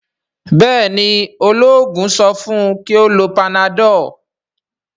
béèni ,oloogun so fun kí o ló Panadol?